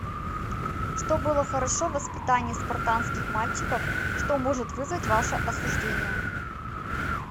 что было хорошо в воспитании спартанских мальчиков что может вызвать ваше осуждение